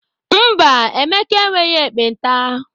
Mba, Emeka enweghị ekpenta.